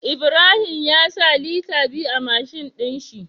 Ibrahim ya sa Liter biyu a mashin din shi